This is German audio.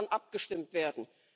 Darüber kann abgestimmt werden.